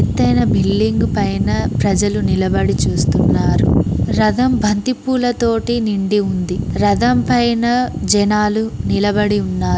ఎతైన building పైన ప్రజలు నిలబడి చూస్తున్నారు రథం బంతిపూల తోటి నిండి ఉంది రథం పైన జనాలు నిలబడి ఉన్నారు.